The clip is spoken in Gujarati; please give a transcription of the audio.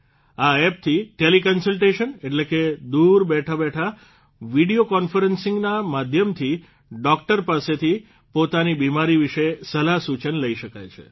આ એપથી ટેલી કન્સલટેશન એટલે કે દૂર બેઠાબેઠા વિડીયો કોન્ફરન્સના માધ્યમથી ડોકટર પાસેથી પોતાની બિમારી વિશે સલાહ સૂચન લઇ શકાય છે